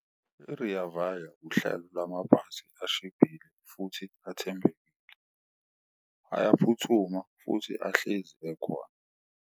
I-Rea Vaya uhlelo lwamabhasi ashibhile futhi athembeke, ayaphuthuma futhi ahlezi ekhona.